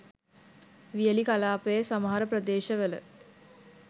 වියලි කලාපයේ සමහර ප්‍රදේශ වල